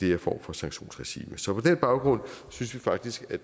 her form for sanktionsregime så på den baggrund synes vi faktisk at